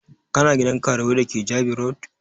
Kana gidan karuwai da ke Jabi road?